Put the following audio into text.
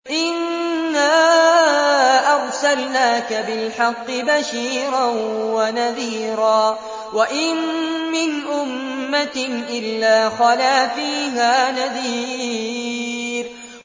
إِنَّا أَرْسَلْنَاكَ بِالْحَقِّ بَشِيرًا وَنَذِيرًا ۚ وَإِن مِّنْ أُمَّةٍ إِلَّا خَلَا فِيهَا نَذِيرٌ